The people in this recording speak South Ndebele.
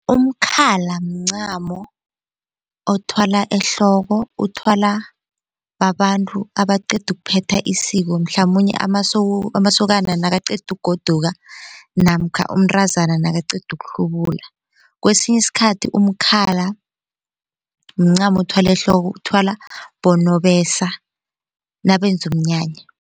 Umkhala mncamo othwalwa ehloko uthwala babantu abaqeda ukuphetha isiko mhlamunye amasokana nakaqeda ukugoduka namkha umntazana nakaqeda uhlubula. Kwesinye isikhathi umkhala mncamo othwalwa ehloko uthwalwa bonobesa nabenza umnyanya.